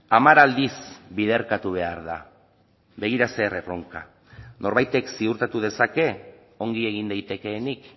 hamar aldiz biderkatu behar da begira zer erronka norbaitek ziurtatu dezake ongi egin daitekeenik